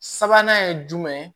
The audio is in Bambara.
Sabanan ye jumɛn ye